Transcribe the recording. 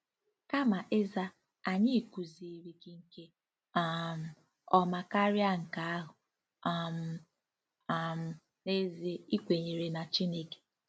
Kama ịza: " Anyị kụziiri gị nke um ọma karịa nke ahụ um - um n'ezie ị kwenyere na Chineke!"